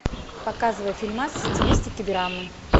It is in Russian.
показывай фильмас в стилистике драмы